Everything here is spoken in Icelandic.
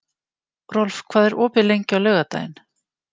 Rolf, hvað er opið lengi á laugardaginn?